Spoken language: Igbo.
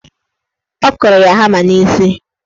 Ọ kụrụ ya hama n'isi.